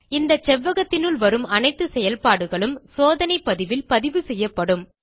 இந்த செவ்வகத்தினுள் வரும் அனைத்து செயல்பாடுகளும் சோதனை பதிவில் பதிவுசெய்யப்படும்